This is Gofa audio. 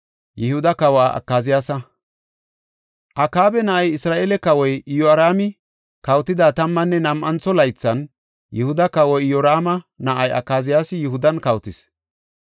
Akaaba na7ay, Isra7eele kawoy Iyoraami kawotida tammanne nam7antho laythan, Yihuda kawa, Iyoraama na7ay Akaziyaasi Yihudan kawotis.